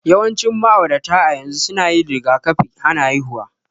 Yawancin ma'aurata a yanzu suna yin rigakafin hana haihuwa.